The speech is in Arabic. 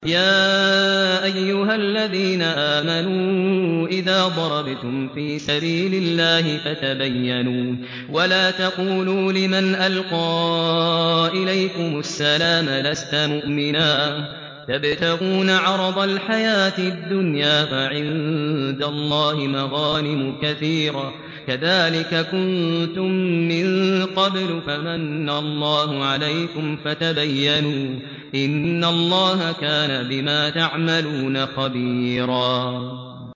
يَا أَيُّهَا الَّذِينَ آمَنُوا إِذَا ضَرَبْتُمْ فِي سَبِيلِ اللَّهِ فَتَبَيَّنُوا وَلَا تَقُولُوا لِمَنْ أَلْقَىٰ إِلَيْكُمُ السَّلَامَ لَسْتَ مُؤْمِنًا تَبْتَغُونَ عَرَضَ الْحَيَاةِ الدُّنْيَا فَعِندَ اللَّهِ مَغَانِمُ كَثِيرَةٌ ۚ كَذَٰلِكَ كُنتُم مِّن قَبْلُ فَمَنَّ اللَّهُ عَلَيْكُمْ فَتَبَيَّنُوا ۚ إِنَّ اللَّهَ كَانَ بِمَا تَعْمَلُونَ خَبِيرًا